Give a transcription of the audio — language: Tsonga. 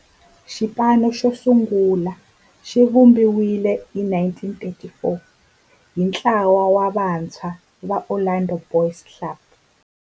Xipano xosungula xivumbiwile hi 1934 hi ntlawa wa vantshwa va Orlando Boys Club.